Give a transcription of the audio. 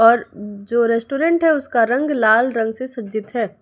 और जो रेस्टोरेंट है उसका रंग लाल रंग से सज्जित है।